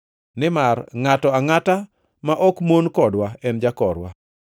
nimar ngʼato angʼata ma ok mon kodwa en jakorwa.